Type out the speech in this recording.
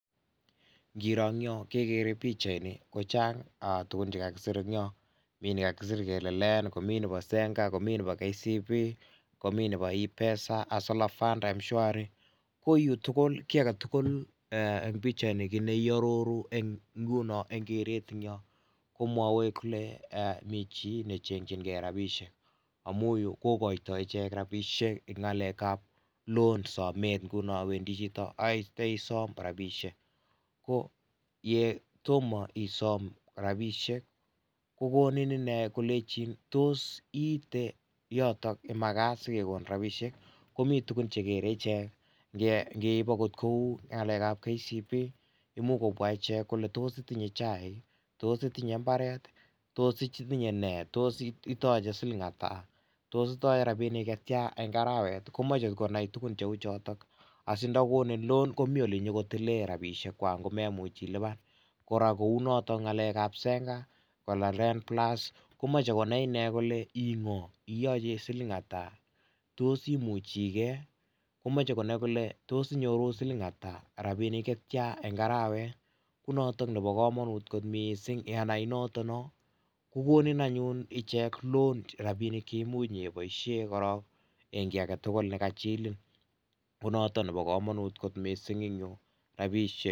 Ngiro eng yo kegere pichaini, kochang tugun che kagisir en yo, mi ne kagisir kele Lend, komi nebo Zenka, komi nebo KCB, komi nebo ipesa, hustlerfund, mhwari. Ko yu tugul eng pichaini ko kit ne iaroru nguno eng keretnyo komwawei kole mi chi ne chenjingei rapisiek amu yu kogoito ichek rapisiek eng ngalekab loan somet. Nguno wendi chito ait isom rapisiek. Ko yetomo isom rapisiek ko konin inne kolenjin tos iiete yoto ye magat sigegonin rapisiek. Ko mi tugun chegere icheck. Ngiip agot kou ngalekab KCB, imuch kopwa ichek kole tos itinye chaik? Tos itinye imbaret, tos itinye nee? Tos itoche siling ata? Tos itoche rapinik che tia eng arawet? Komoche konai tugun cheu chotok asindagonin loan komi olenyogotile rapisiekwak ngomemuch ilupan. Kora kou notok ngalegab Zenka, Alale plus, komache konai inne kole ingo? Itoche siling ata? Tos imuchigei? Komache konai kole tos inyoru siling ata ak rapinik chetia eng arawet. Konotok nebo kamanut mising yenai notok no. Kogonin anyun icheng loan rapinik che imuch inyeboisien korok eng kiagetugul ne kachilin. Konotok nebo kamanut kot mising en yu; Rapisiek.